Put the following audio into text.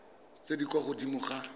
tse di kwa godimo ga